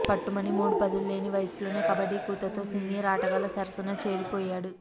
పట్టుమని మూడు పదులు లేని వయస్సులోనే కబడ్డీ కూతతో సీనియర్ ఆటగాళ్ల సరసన చేరిపోయాడు